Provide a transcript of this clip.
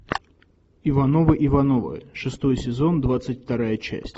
ивановы ивановы шестой сезон двадцать вторая часть